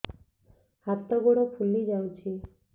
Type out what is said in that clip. ହାତ ଗୋଡ଼ ଫୁଲି ଯାଉଛି